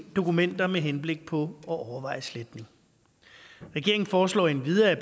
dokumenter med henblik på at overveje sletning regeringen foreslår endvidere at